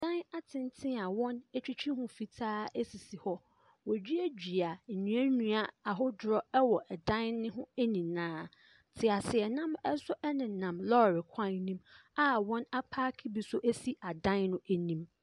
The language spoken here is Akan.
Adan atenten a wɔn atwitwi ho fitaa sisi hɔ. Wɔaduadua nnuannua ahodoɔ wɔ dan no ho nyinaa. Teaseɛnam nso nenam lɔre kwan no mu a wɔn apaake bi nso si adan no anim.